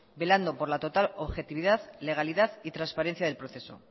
velando por la total objetividad legalidad y transparencia del proceso